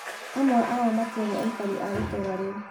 Amwe ao matiarĩ aikari a itũũra rĩu